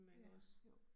Ja, jo